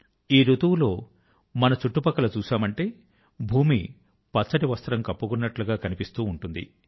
ఈ రుతువు లో మన చుట్టుపక్కల చూశామంటే భూమి పచ్చటి వస్త్రం కప్పుకున్నట్టుగా కనిపిస్తూ ఉంటుంది